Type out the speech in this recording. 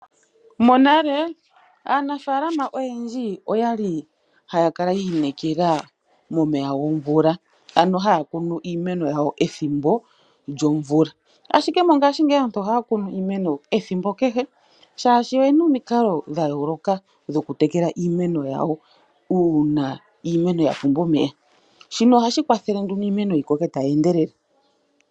Monale aanafalama oyendji okwali haya kala yiikolelela momeya gomvula. Okwali haya kunu iimeno yawo pethimbo lyomvula, ashike mongashingeyi ohaya kunu iimeno ethimbo kehe oshoka oyena omikalo dhayooloka dhokutekela iimeno yawo uuna iimeno yapumbwa omeya. Nomukalo nguno ohagu kwathele iimeno yikoke tayi endelele.